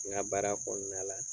N ka baara kɔnɔna la